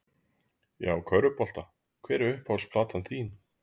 Já, körfubolta Hver er uppáhalds platan þín?